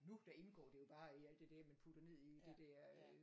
Nu der indgår det jo bare i alt det der man putter ned i det der øh